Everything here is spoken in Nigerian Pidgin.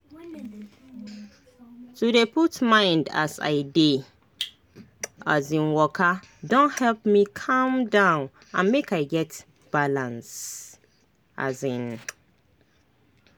to dey put mind as i dey um waka don help me calm down and make i get balance. um